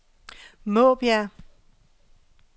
Måbjerg